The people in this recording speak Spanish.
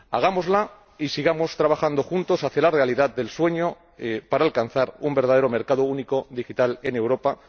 Hagámosla y sigamos trabajando juntos hacia la realidad del sueño para alcanzar un verdadero mercado único digital en Europa.